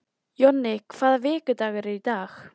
Jonni, hvaða vikudagur er í dag?